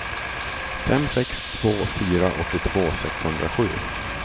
fem sex två fyra åttiotvå sexhundrasju